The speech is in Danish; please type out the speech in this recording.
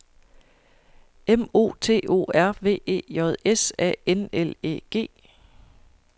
M O T O R V E J S A N L Æ G